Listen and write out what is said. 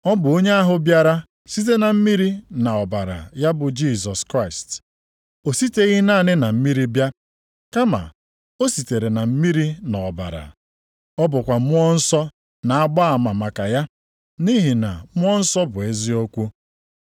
Ọ bụ onye ahụ bịara site na mmiri na ọbara, ya bụ Jisọs Kraịst. O siteghị naanị na mmiri bịa, kama o sitere na mmiri na ọbara. Ọ bụkwa Mmụọ Nsọ na-agba ama maka ya, nʼihi na Mmụọ Nsọ bụ eziokwu.